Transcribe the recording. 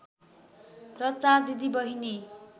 र चार दिदी बहिनी